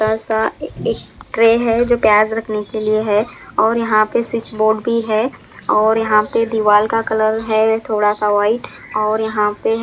एक ट्रे है जो प्याज़ रखने के लिए है और यहाँ पे स्विच बोर्ड भी है और यहाँ पे दीवाल का कलर है थोड़ा सा व्हाइट और यहाँ पे--